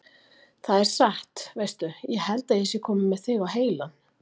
Það er satt. veistu. ég held að ég sé kominn með þig á heilann!